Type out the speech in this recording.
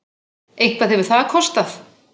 Eitthvað hefur það kostað!